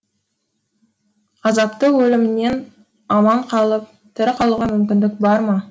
азапты өлімнен аман қалып тірі қалуға мүмкіндік бар ма